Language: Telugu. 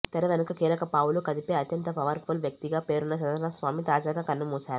తెర వెనుక కీలక పావులు కదిపే అత్యంత పవర్ ఫుల్ వ్యక్తిగా పేరున్న చంద్రస్వామి తాజాగా కన్నుమూశారు